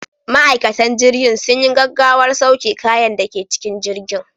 Ma'aikatan jirgin sun yi gaggawar sauke kayan da ke cikin jirgin.